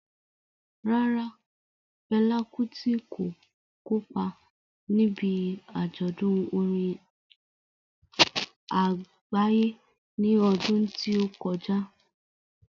Rárá, Fela Kuti kò kópa níbi àjọ̀dún orin àgbáyé ní ọdún tí ó kọjá.